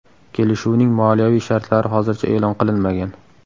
Kelishuvning moliyaviy shartlari hozircha e’lon qilinmagan.